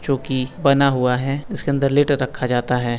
जोकि बना हुआ है इसके अंदर लैटर रखा जाता है।